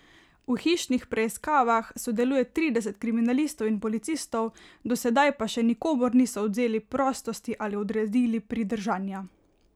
V hišnih preiskavah sodeluje trideset kriminalistov in policistov, do sedaj pa še nikomur niso odvzeli prostosti ali odredili pridržanja.